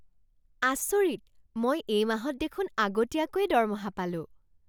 আচৰিত! মই এই মাহত দেখোন আগতীয়াকৈয়ে দৰমহা পালোঁ!